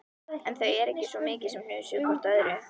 En þau ekki svo mikið sem hnusuðu hvort af öðru.